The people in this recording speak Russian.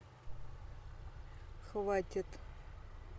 хватит